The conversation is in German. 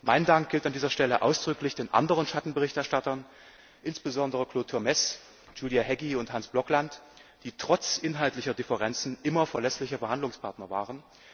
Mein Dank gilt an dieser Stelle ausdrücklich den anderen Schattenberichterstattern, insbesondere Claude Turmes, Gyula Hegyi und Hans Blokland, die trotz inhaltlicher Differenzen immer verlässliche Verhandlungspartner